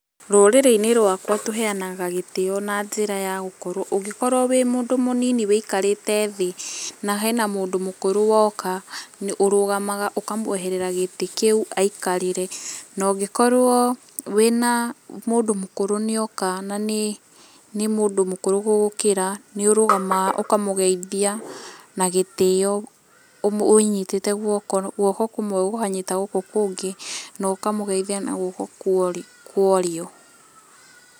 Rũrĩrĩ-inĩ rwakwa tũheanaga gĩtĩo na njĩra ya gũkorwo. Ũngĩkorwo wĩ mũndũ mũnini wĩikarĩte thĩ, na hena mũndũ mũkũrũ woka, ũrũgamaga ũkamweherera gĩtĩ kĩu aikarĩre. Na ũngĩkorwo wĩna, mũndũ mũkũrũ nĩ oka na nĩ, nĩ mũndũ mũkũrũ gũgũkĩra, nĩ ũrũgamaga ũkamũgeithia na gĩtĩo, ũnyitĩte guoko, guoko kũmwe gũkanyita gũkũ kũngĩ na ũkamũgeithia na guoko kwa ũrĩo.